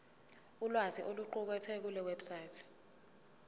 ulwazi oluqukethwe kulewebsite